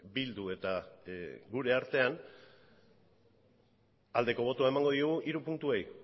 bildu eta gure artean aldeko botoa emango diogu hiru puntuei